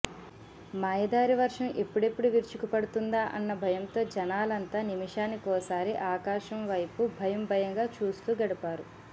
మాయదారి వర్షం ఎప్పుడెప్పుడు విరుచుకుపడుతుండా అన్న భయంతో జనాలంతా నిమిషానికోసారి ఆకాశం వైపు భయం భయంగా చూస్తూ గడిపారు